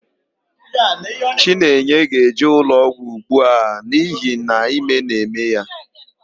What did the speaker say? Chinenye ga-eje ụlọọgwụ ugbu a n'ihi na ime na-eme ya.